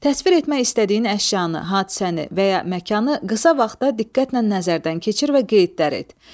Təsvir etmək istədiyin əşyanı, hadisəni və ya məkanı qısa vaxtda diqqətlə nəzərdən keçir və qeydlər et.